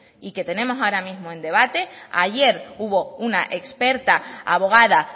y que tenemos ahora mismo en debate ayer hubo una experta abogada